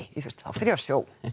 þá fer ég á sjó